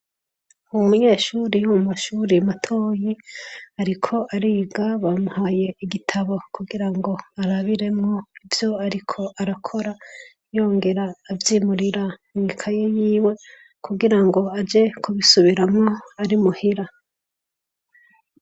Umunyeshure wo mu mashure matoyi ariko ariga. Bamuhaye igitabo kugira ngo arabiremwo ivyo ariko arakora yongera avyimurira mw'ikaye yiwe kugira ngo aje kubisubisubiramwo ari muhira.